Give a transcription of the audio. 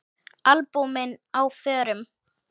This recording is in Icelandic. Albúmin á förum.